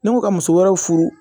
Ne ko ka muso wɛrɛw furu